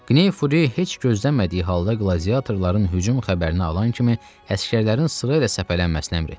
Qney Furi heç gözləmədiyi halda qladiyatorların hücum xəbərini alan kimi əsgərlərin sırayla səpələnməsini əmr etdi.